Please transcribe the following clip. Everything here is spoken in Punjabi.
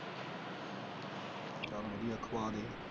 ਚੱਲ ਵਧੀਆ ਖਵਾ ਉਹਨੂੰ।